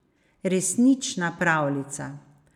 Resnična pravljica.